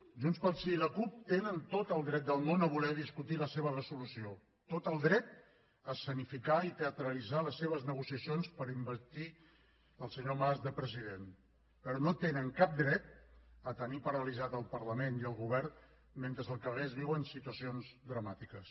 junts pel sí i la cup tenen tot el dret del món a voler discutir la seva resolució tot el dret a escenificar i teatralitzar les seves negociacions per investir el senyor mas de president però no tenen cap dret a tenir paralitzats el parlament i el govern mentre al carrer es viuen situacions dramàtiques